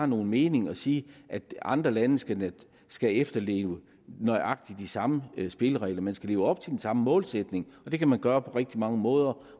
nogen mening at sige at andre lande skal skal efterleve nøjagtig de samme spilleregler man skal leve op til den samme målsætning og det kan man gøre på rigtig mange måder